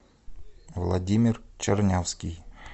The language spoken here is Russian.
владимир чернявский